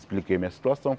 Expliquei minha situação.